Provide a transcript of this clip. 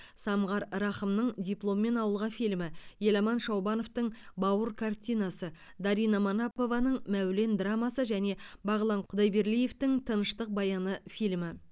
самғар рақымның дипломмен ауылға фильмі еламан шаубановтың бауыр картинасы дарина манапованың мәулен драмасы және бағлан құдайберлиевтің тыныштық баяны фильмі